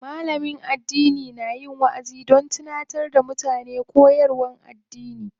Malam addini na yin waʼazi don tunatar da mutane koyarwar addini.